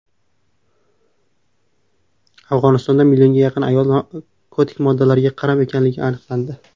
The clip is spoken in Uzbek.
Afg‘onistonda millionga yaqin ayol narkotik moddalarga qaram ekanligi aniqlandi.